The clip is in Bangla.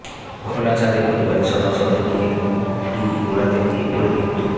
খোলা ছাদে পরিবারের সদস্যদের নিয়ে ঘুড়ি ওড়াতে গিয়ে পড়ে মৃত্যু